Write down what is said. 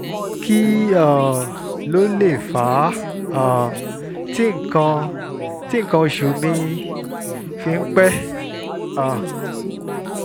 kí um ló lè fà um á tí nǹkan tí nǹkan oṣù mi fi ń pẹ́? um